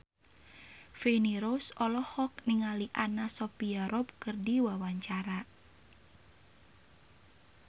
Feni Rose olohok ningali Anna Sophia Robb keur diwawancara